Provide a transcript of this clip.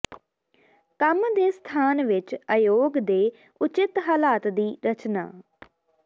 ਕੰਮ ਦੇ ਸਥਾਨ ਵਿੱਚ ਅਯੋਗ ਦੇ ਉਚਿਤ ਹਾਲਾਤ ਦੀ ਰਚਨਾ